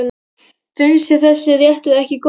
Finnst þér þessi réttur ekki góður?